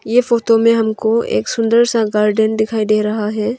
ये फोटो में हमको एक सुंदर सा गार्डन दिखाई दे रहा है।